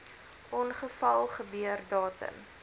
ongeval gebeur datum